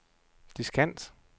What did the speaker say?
diskant